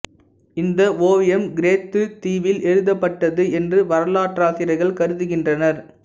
இந்த ஓவியம் கிரேத்துத் தீவில் எழுதப்பட்டது என்று வரலாற்றாசிரியர்கள் கருதுகின்றனர்